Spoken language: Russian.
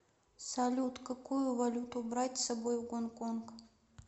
салют какую валюту брать с собой в гонконг